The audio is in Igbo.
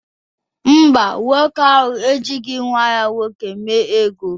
Ee e, nwoke ahụ ejighị nwa ya nwoke mee ememe ego.